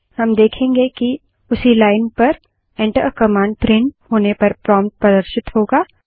हम देखेंगे कि उसी लाइन पर Enter आ कमांड प्रिंट होने पर प्रोम्प्ट प्रदर्शित होगा